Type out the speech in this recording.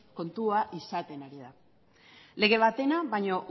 kontua izaten ari da lege batena baino